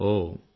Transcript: ఉంటాం సర్